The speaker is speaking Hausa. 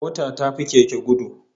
Mota ta fi Keke gudu